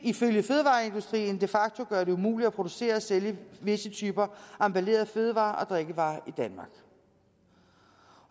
ifølge fødevareindustrien de facto gøre det umuligt at producere og sælge visse typer emballerede fødevarer og drikkevarer i danmark